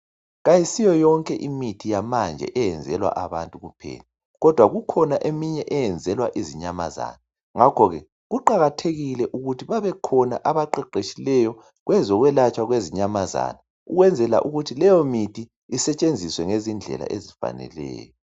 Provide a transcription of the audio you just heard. Kayisiyo yonke imithi yamanje eyenzelwa abantu kuphela kodwa kukhona eminye eyenzelwa izinyamazana ngakho ke kuqakathekile ukuthi babekhona abaqheqhetshileyo kwezokwelatshwa kwezinyamazana ukwenzela ukuthi leyo mithi isetshenziswe ngezindlela esifaneleyo.